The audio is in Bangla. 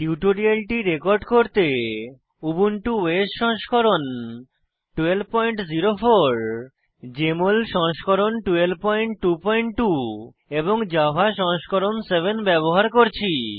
টিউটোরিয়ালটি রেকর্ড করতে উবুন্টু ওএস সংস্করণ 1204 জেএমএল সংস্করণ 1222 এবং জাভা সংস্করণ 7 ব্যবহার করছি